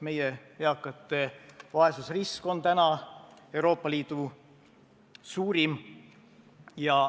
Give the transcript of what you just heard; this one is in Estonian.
Meie eakate vaesusrisk on Euroopa Liidu suurim.